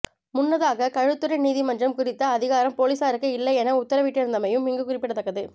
முன்னதாக களுத்துறை நீதிமன்றம் குறித்த அதிகாரம் பொலிஸாருக்கு இல்லை என உத்தரவிட்டிருந்தமையும் இங்கு குறிப்பிடத்தக்கது